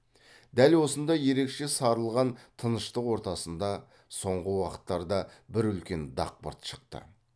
дәл осындай ерекше сарылған тыныштық ортасында соңғы уақыттарда бір үлкен дақпырт шықты